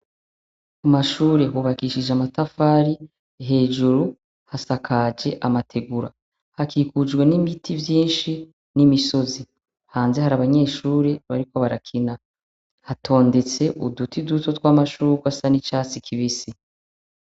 Umashure hubakishije amatafari hejuru hasakaje amategura hakikujwe n'imiti vyinshi n'imisozi hanze hari abanyeshure bariko barakina hatondetse uduti duto tw'amashuri asa n'icatsi kibisi.